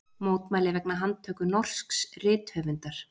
Mótmæli vegna handtöku norsks rithöfundar